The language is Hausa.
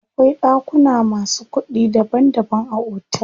Akwai ɗakuna masu kuɗi daban daban a otel.